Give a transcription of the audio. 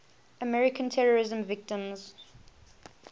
american terrorism victims